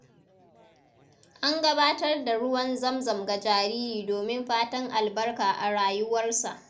An gabatar da ruwan zamzam ga jariri domin fatan albarka a rayuwarsa.